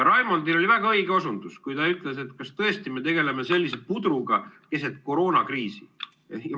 Raimondil oli väga õige osundus, kui ta ütles, et kas tõesti me tegeleme sellise pudruga keset koroonakriisi.